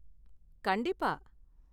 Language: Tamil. கண்டிப்பா.